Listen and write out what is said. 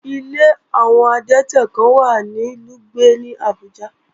Ilé àwọn adẹ́tẹ̀ kán wà ní Lùgbẹ̀ ní ìlú Àbújá